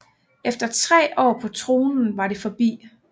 Efter tre år på tronen var det forbi